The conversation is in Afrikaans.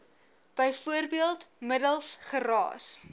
bv middels geraas